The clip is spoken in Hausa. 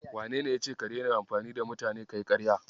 Wanene yace ka daina amfani da mutane kayi ƙarya?